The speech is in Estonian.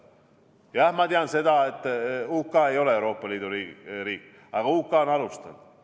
Jah, ma tean seda, et UK, kes ei ole Euroopa Liidu riik, on alustanud.